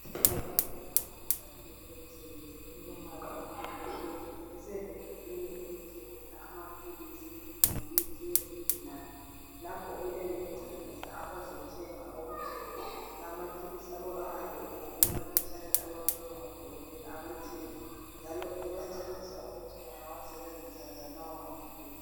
Ugqoke ibhatshi lakhe lomsebenzi, elilombala omhlophe nke. Usevinkilini elithengisa amaphilisi, lemithi yezigulane. Lapho uyabe encedisa abazothenga ukuthi lawomaphilisi ayabe ebhalwe emaphetshaneni ayabe ebhakwe ngodokotela abathile. Ebancedisa ukuthi bangawasebenzisa njani lawomaphilisi.